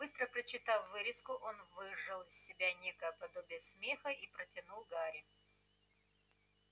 быстро прочитав вырезку он выжал из себя некое подобие смеха и протянул гарри